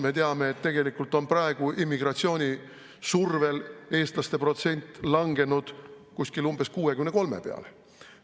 Me teame, et tegelikult on praegu immigratsiooni survel eestlaste protsent langenud umbes 63 peale.